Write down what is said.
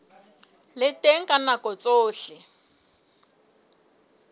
le teng ka nako tsohle